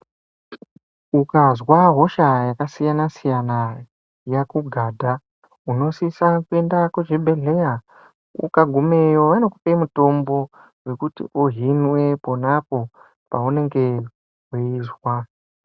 Ukazwa hosha yakasiyana siyana yakugadha unosise kuende kuchibhehleya ukagumeyo vanokupe mitombo wekuti uhinwe ponapo paunenge weizwa .